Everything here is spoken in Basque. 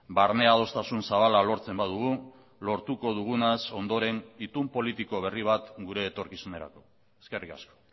barne adostasun zabala lortzen badugu lortuko dugunaz ondoren itun politiko berri bat gure etorkizunerako eskerrik asko